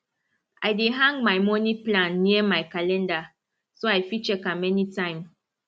i dey hang my money plan near my calendar so i fit check am anytime